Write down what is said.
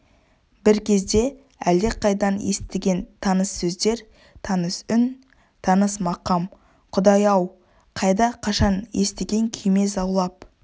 бір кезде әлдеқайдан естіген таныс сөздер таныс үн таныс мақам құдай-ау қайда қашан естіген күйме заулап